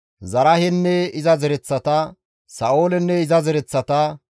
Zaraahenne iza zereththata, Sa7oolenne iza zereththata,